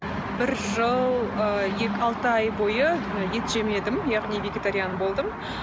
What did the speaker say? бір жыл ы алты ай бойы ет жемедім яғни вегетариан болдым